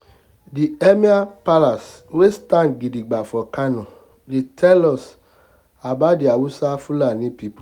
the emir palace wey stand gidibga for kano dey tell us about the hausa/fulani the hausa/fulani pipo